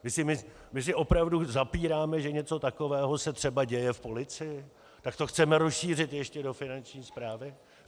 My si opravdu zapíráme, že něco takového se třeba děje v policii, tak to chceme rozšířit ještě do Finanční správy?